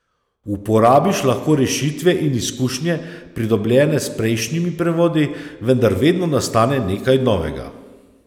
Uporabiš lahko rešitve in izkušnje, pridobljene s prejšnjimi prevodi, vendar vedno nastane nekaj novega.